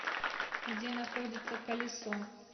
где находится колесо